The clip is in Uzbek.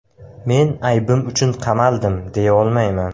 Men aybim uchun qamaldim, deya olmayman.